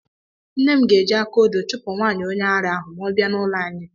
Nne m ga-eji akaodo chụpụ nwaanyị onye ara ahụ ma ọ bịa n’ụlọ anyị.